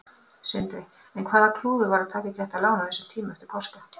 Sindri: En var klúður að taka ekki þetta lán á þessum tíma eftir páska?